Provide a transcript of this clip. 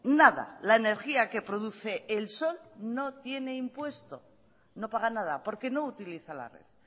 nada la energía que produce el sol no tiene impuesto no paga nada porque no utiliza la red